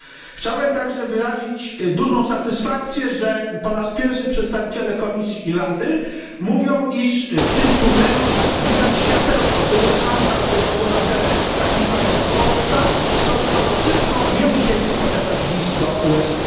Chciałem także wyrazić dużą satysfakcję, że po raz pierwszy przedstawiciele Komisji i Rady mówią, iż w tym tunelu widać światełko, że jest szansa, aby obywatele takich państw jak Polska stosunkowo szybko nie musieli posiadać wiz do USA.